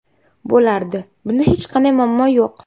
Bo‘lardi, bunda hech qanday muammo yo‘q.